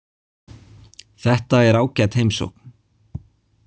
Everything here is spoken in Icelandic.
Þetta er ágæt heimsókn.